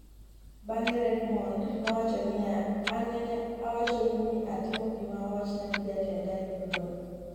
bang'e Redmond nowacho niya" an nene awachonuu ni atimo gima owachna gi jatenda e tugo no